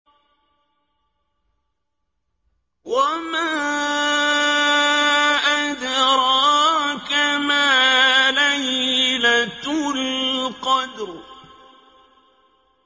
وَمَا أَدْرَاكَ مَا لَيْلَةُ الْقَدْرِ